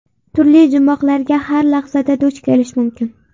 Turli jumboqlarga har lahzada duch kelish mumkin.